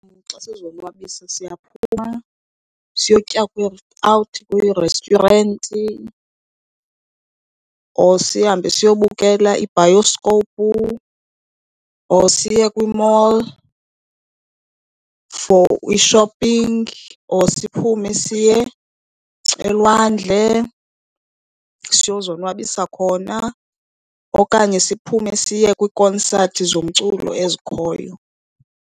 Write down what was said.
Xa sizonwabisa siyaphuma siyotya out kwiresityurenti or sihambe siyobukela ibhayoskophu or siye kwi-mall for i-shopping or siphume siye elwandle siyozonwabisa khona okanye siphume siye kwiikonsathi zomculo ezikhoyo.